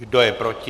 Kdo je proti?